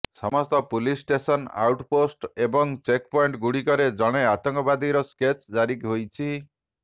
ସମସ୍ତ police station outpost ଏବଂ ଚେକ୍ପଏଣ୍ଟ୍ଗୁଡ଼ିକରେ ଜଣେ ଆତଙ୍କବାଦୀର ସ୍କେଚ୍ ଜାରି ହୋଇଛି